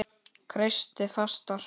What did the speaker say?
Kreisti fastar.